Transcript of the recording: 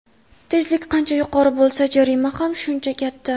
Tezlik qancha yuqori bo‘lsa, jarima ham shuncha katta.